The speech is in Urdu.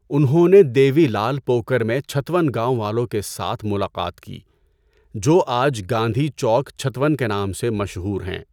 انہوں نے دیوی لعل پوکر میں چھتون گاؤں والوں کے ساتھ ملاقات کی، جو آج گاندھی چوک چھتون کے نام سے مشہور ہیں۔